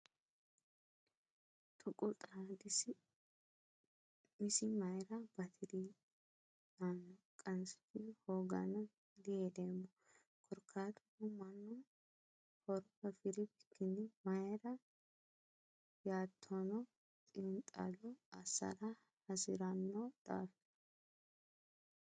Tuqu xaadi isi mayra batiri yaano qansichi hoogano yee dihedeemmo korkaatuno mannu horo afiri bikkini mayra ytano xiinxallo assara hasirano daafira.